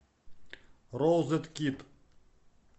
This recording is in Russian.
розеткед